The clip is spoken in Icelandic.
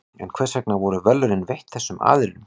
en hvers vegna voru verðlaunin veitt þessum aðilum